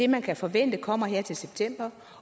man kan forvente kommer her til september